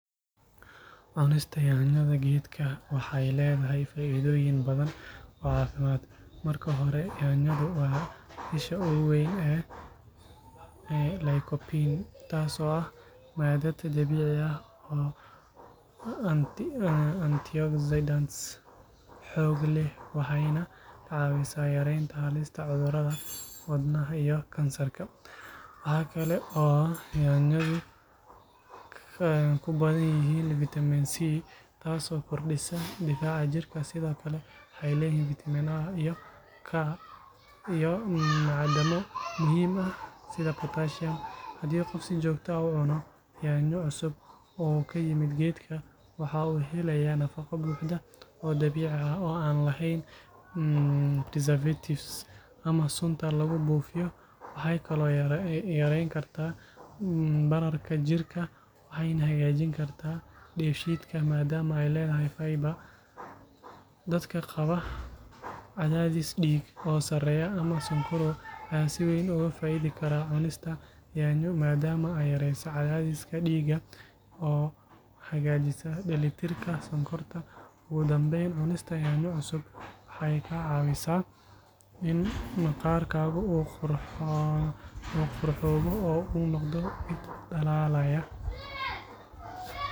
Cunista yaanyada geedka waxay leedahay faa’iidooyin badan oo caafimaad. Marka hore, yaanyadu waa isha ugu weyn ee lycopene, taas oo ah maadad dabiici ah oo ah antioxidant xoog leh, waxayna ka caawisaa yareynta halista cudurrada wadnaha iyo kansarka. Waxa kale oo yaanyadu ku badan yihiin vitamin C, taas oo kordhisa difaaca jirka. Sidoo kale, waxay leeyihiin vitamin A iyo K iyo macdano muhiim ah sida potassium. Haddii qof si joogto ah u cuno yaanyo cusub oo ka yimid geedka, waxa uu helayaa nafaqo buuxda oo dabiici ah oo aan lahayn preservatives ama sunta lagu buufiyo. Waxay kaloo yareyn kartaa bararka jirka waxayna hagaajin kartaa dheefshiidka maadaama ay leedahay fibre. Dadka qaba cadaadis dhiig oo sareeya ama sonkorow ayaa si weyn uga faa’iidi kara cunista yaanyo maadaama ay yareyso cadaadiska dhiigga oo hagaajisa dheelitirka sonkorta. Ugu dambeyn, cunista yaanyo cusub waxay kaa caawisaa in maqaarkaaga uu qurxoobo oo uu noqdo mid dhalaalaya, sababtoo ah maaddooyinka ka hortaga gabowga ay ku jirto. Yaanyadu waa miro muhiim ah oo aad loogu talinayo in lagu daro cunno maalmeedka.